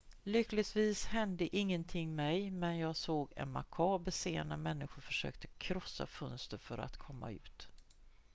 """lyckligtvis hände ingenting mig men jag såg en makaber scen när människor försökte krossa fönster för att komma ut.